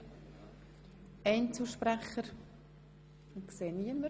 – Das scheint nicht der Fall zu sein.